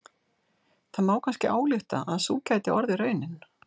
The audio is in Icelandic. Það má kannski álykta að sú gæti orðið raunin.